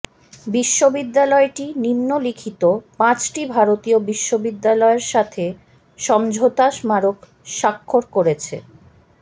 বিশ্ববিদ্যালয়টি নিম্নলিখিত পাঁচটি ভারতীয় বিশ্ববিদ্যালয়ের সাথে সমঝোতা স্মারক স্বাক্ষর করেছেঃ